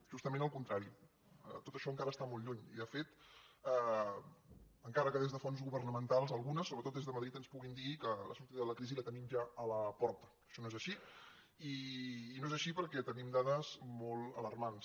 justament el contrari tot això encara està molt lluny i de fet encara que des de fonts go·vernamentals algunes sobretot des de madrid ens puguin dir que la sortida de la crisi la tenim ja a la porta això no és així i no és així perquè tenim dades molt alarmants